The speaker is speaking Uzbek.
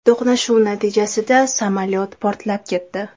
To‘qnashuv natijasida samolyot portlab ketdi.